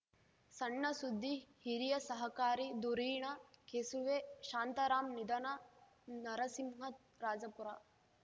ಸಣ್ಣಸುದ್ದಿ ಹಿರಿಯ ಸಹಕಾರಿ ಧುರೀಣ ಕೆಸುವೆ ಶಾಂತರಾಮ್‌ ನಿಧನ ನರಸಿಂಹರಾಜಪುರ